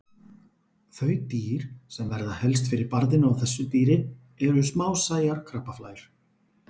Þau dýr sem verða helst fyrir barðinu á þessu dýri eru smásæjar krabbaflær.